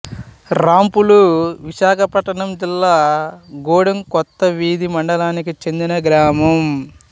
రాంపులు విశాఖపట్నం జిల్లా గూడెం కొత్తవీధి మండలానికి చెందిన గ్రామం